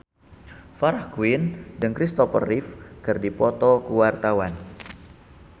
Farah Quinn jeung Kristopher Reeve keur dipoto ku wartawan